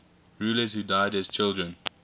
rulers who died as children